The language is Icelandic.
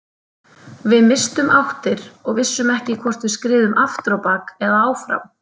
Við misstum áttir og vissum ekki hvort við skriðum aftur á bak eða áfram.